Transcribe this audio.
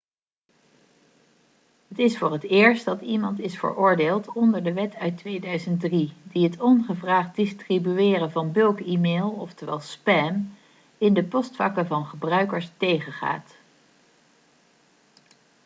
het is voor het eerst dat iemand is veroordeeld onder de wet uit 2003 die het ongevraagd distribueren van bulk-e-mail oftewel spam in de postvakken van gebruikers tegengaat